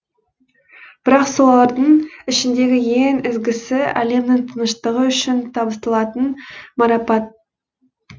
бірақ солардың ішіндегі ең ізгісі әлемнің тыныштығы үшін табысталатын марапат